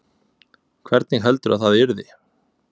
Hvernig heldurðu að það yrði?